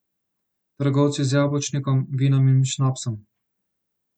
Trgovci z jabolčnikom, vinom in šnopsom.